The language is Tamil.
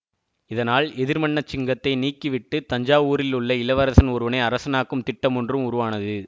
இதனால் எதிர்மன்னசிங்கத்தை நீக்கிவிட்டுத் தஞ்சாவூரிலுள்ள இளவரசன் ஒருவனை அரசனாக்கும் திட்டமொன்றும் உருவானது